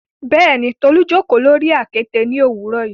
Bẹẹni, Tolu jókò lori akete ni owurọ yi